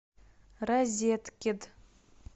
розеткед